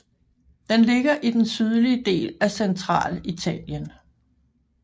Den ligger i den sydlige del af Centralitalien